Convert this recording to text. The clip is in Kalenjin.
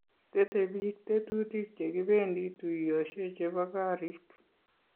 Tetei biik tetutik che kibendii tuyoshe che bo koriik.